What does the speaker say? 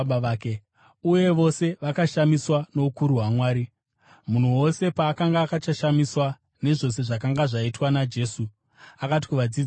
Uye vose vakashamiswa noukuru hwaMwari. Vanhu vose pavakanga vachakashamiswa nezvose zvakanga zvaitwa naJesu, akati kuvadzidzi vake,